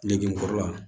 Nege kɔrɔla